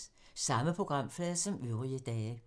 Samme programflade som øvrige dage